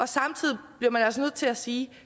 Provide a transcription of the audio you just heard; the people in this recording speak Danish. samtidig bliver man altså nødt til at sige